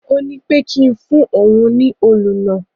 Ó ní pé kí n fún òun ní òlù náà.